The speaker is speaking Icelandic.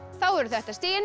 þá eru þetta stigin